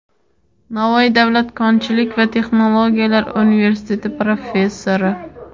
Navoiy davlat konchilik va texnologiyalar universiteti professori;.